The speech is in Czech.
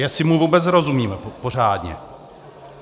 Jestli mu vůbec rozumíme pořádně.